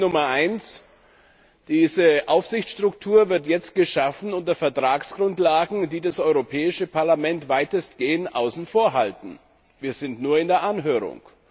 Problem Nummer 1 Diese Aufsichtsstruktur wird jetzt geschaffen unter Vertragsgrundlagen, die das Europäische Parlament weitestgehend außen vor halten. Wir sind nur in der Anhörung!